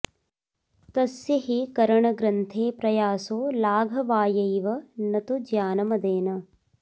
तस्य हि करणग्रन्थे प्रयासो लाघवायैव न तु ज्ञानमदेन